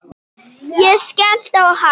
Ég skellti á hann.